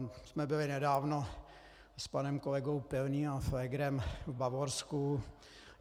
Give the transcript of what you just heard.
My jsme byli nedávno s panem kolegou Pilným a Pflégrem v Bavorsku.